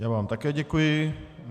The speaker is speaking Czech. Já vám také děkuji.